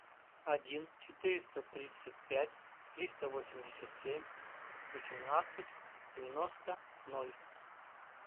один четыреста тридцать пять триста восемьдесят семь восемнадцать девяносто ноль